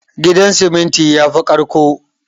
Gidan siminti yafi ƙarƙko